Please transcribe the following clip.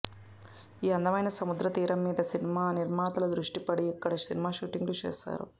ఈ అందమైన సముద్ర తీరం మీద సినిమా నిర్మాతల దృష్టి పడి ఇక్కడ సినిమా షూటింగ్ లు చేస్తున్నారు